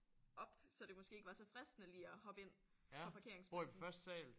Op så det måske ikke var så fristende lige at hoppe ind fra parkeringspladsen